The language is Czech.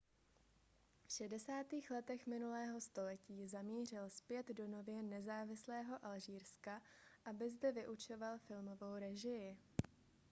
v 60. letech minulého století zamířil zpět do nově nezávislého alžírska aby zde vyučoval filmovou režii